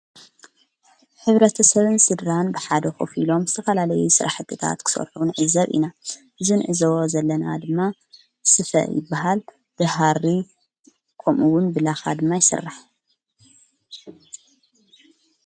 ሕብረተሰብን ስድራን ብሓደ ኾፊሎም ዝተፈላለይ ስራሕትታት ክሠርፈቡን ዕዘብ ኢና ዝንዕዘዎ ዘለና ድማ ስፈ ይበሃል ድሃሪ ቆምኡውን ብላኻ ድማ ይስራሕ።